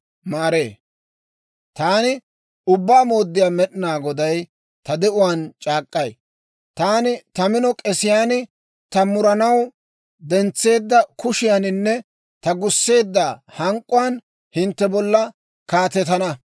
« ‹Taani Ubbaa Mooddiyaa Med'inaa Goday ta de'uwaan c'aak'k'ay: Taani ta mino k'esiyaan, ta muranaw dentseedda kushiyaaninne ta gusseedda hank'k'uwaan hintte bolla kaatetana.